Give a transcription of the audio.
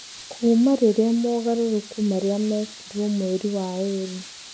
Kuuma rĩrĩa mogarũrũku marĩa mekirwo mweri wa ĩrĩ.